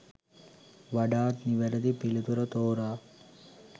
වඩාත් නිවැරැදි පිළිතුර තෝරා